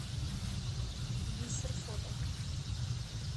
бисер фото